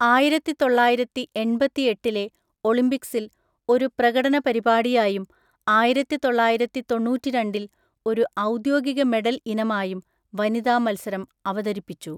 ആയിരത്തിത്തൊള്ളായിരത്തിഎൺപത്തിഎട്ടിലെ ഒളിമ്പിക്സിൽ ഒരു പ്രകടന പരിപാടിയായും ആയിരത്തിതൊള്ളായിരത്തിത്തൊണ്ണൂറ്റിരണ്ടിൽ ഒരു ഔദ്യോഗിക മെഡൽ ഇനമായും വനിതാ മത്സരം അവതരിപ്പിച്ചു.